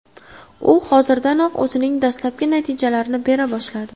U hozirdanoq o‘zining dastlabki natijalarini bera boshladi.